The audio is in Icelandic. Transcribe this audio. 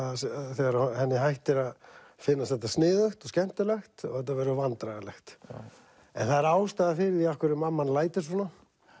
þegar henni hættir að finnast þetta sniðugt og skemmtilegt og þetta verður vandræðalegt en það er ástæða fyrir því af hverju mamman lætur svona